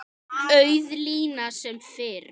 Auð lína sem fyrr.